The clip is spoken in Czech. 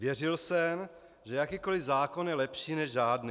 Věřil jsem, že jakýkoli zákon je lepší než žádný.